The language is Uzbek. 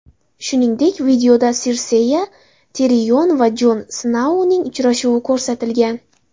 Shuningdek, videoda Sirseya, Tirion va Jon Snouning uchrashuvi ko‘rsatilgan.